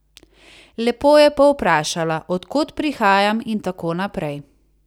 Lepo je povprašala, od kod prihajam in tako naprej.